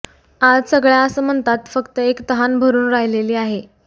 आज सगळ्या आसमंतात फक्त एक तहान भरून राहिलेली आहे